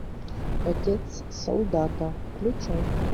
отец солдата включай